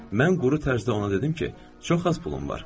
Mən quru tərzdə ona dedim ki, çox az pulum var.